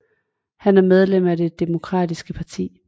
Han er medlem af Det Demokratiske Parti